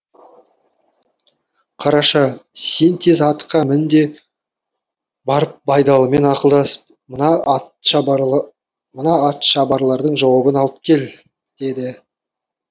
қараша сен тез атқа мін де барып байдалымен ақылдасып мына атшабарлардың жауабын алып кел деді